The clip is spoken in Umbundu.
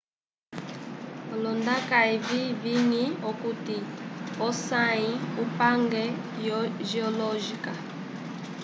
olondaka evi viñi okuti osayi upange yo geologica